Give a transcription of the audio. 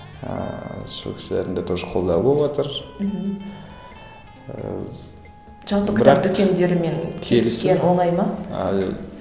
ііі сол кісілердің де тоже қолдауы болыватыр мхм